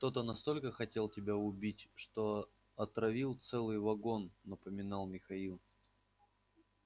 кто-то настолько хотел тебя убить что отравил целый вагон напоминал михаил